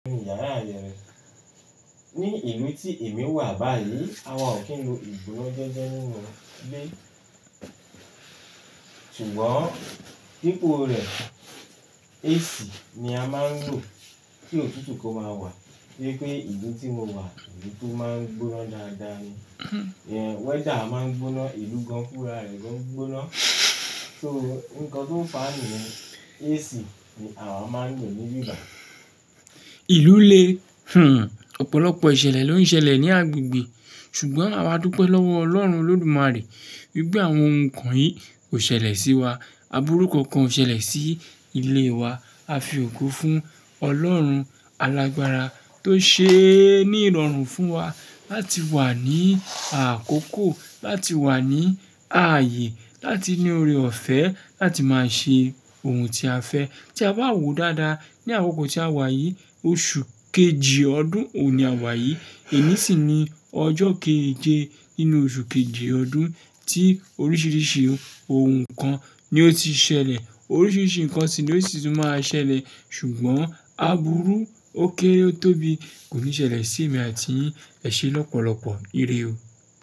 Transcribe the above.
Ní yàrá yẹn, ní ìbi tí èmi wà báyìí, àwa ò kí ń lo ìgboro gẹ́gẹ́ nínú ilé. Ṣùgbọ́n dípò rẹ̀, AC ni a máa ń lò kí òtútù kó má wà. Torí pé ìlú tí mo wà, ìlú tó máa ń gbóná dáadáa ni. Weather máa ń gbóná, ìlú gan-an, fúrà rẹ̀ gan-an gbóná. So nǹkan tó ń fà niyen. AC ni àwa máa ń lò ní ibi bayii. Ìlú le, ọ̀pọ̀lọpọ̀ ìṣẹ̀lẹ̀ ló ń ṣẹlẹ̀ ní agbègbè. Ṣùgbọ́n àwa dúpẹ́ lọ́wọ́ Ọlọ́run Olódùmarè, wi pé àwọn ohun kan yìí kò ṣẹlẹ̀ sí wa. Aburú kan kan ò ṣẹlẹ̀ sí ilé wa. A fi ògo fún Ọlọ́run alagbara, tó ṣe ní ìrọ̀rùn fún wa láti wà ní àkókò, láti wà ní ààyè, láti ní oore-ọ̀fẹ́, láti máa ṣe ohun tí a fẹ́. Tí a bá wò dáadáa ní àkókò tí a wà yìí, oṣù kejì ọdún òní àwa yìí, èní sì ni ọjọ́ keje nínú oṣù kejì ọdún tí oríṣiríṣi ohun kan ni ó ti ṣẹlẹ̀. Oríṣiríṣi nǹkan sí inú ìsìn máa ṣẹlẹ̀, ṣùgbọ́n aburú, ókéré, ó tóbi kò ní ṣẹlẹ̀ sí èmi àti yín. Ẹ ṣe lọ́pọ̀lọpọ̀, íre o.